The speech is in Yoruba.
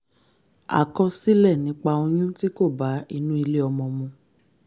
àkọsílẹ̀ nípa oyún tí kò bá inú ilé ọmọ mu